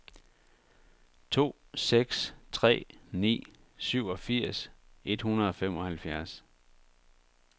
to seks tre ni syvogfirs et hundrede og femoghalvfjerds